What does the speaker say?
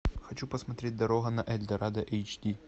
хочу посмотреть дорога на эльдорадо эйч ди